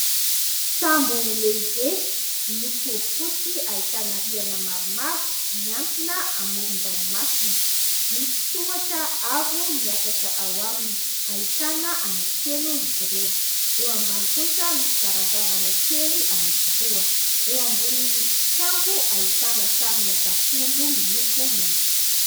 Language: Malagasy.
Sambo lehibe, miloko fotsy ahitana rihana maromaro miantsona amoron-dranomasina. Misy tohatra avo miakatra ao aminy, ahitana anankitelo izy ireo ; eo ambany kosa misy varavarana kely anankiroa ; eo ambonin'ny sambo ahitana sarina tafondro miloko mainty.